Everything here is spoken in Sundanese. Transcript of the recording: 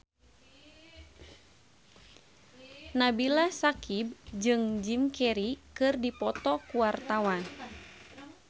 Nabila Syakieb jeung Jim Carey keur dipoto ku wartawan